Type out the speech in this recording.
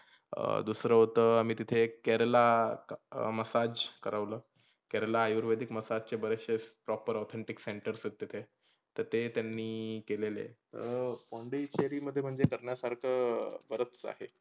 अं दुसरंंहोतंं आम्ही तीथे एक केरला massage करवलं. केरला आयुर्वेदीक massage मसाज चे बरेचशे proper authentic centers आहेत तीथे. तर ते त्यांनी केलेले आहेत. तर पोंडेचेरी मध्ये करण्यासारख बरंच आहे.